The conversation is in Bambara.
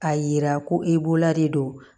A yira ko e bolola de don